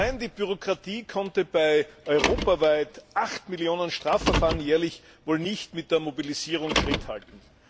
Allein die Bürokratie konnte bei europaweit acht Millionen Strafverfahren jährlich wohl nicht mit der Mobilisierung Schritt halten.